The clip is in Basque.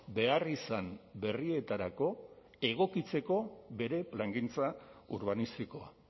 beharrizan berrietarako egokitzeko bere plangintza urbanistikoa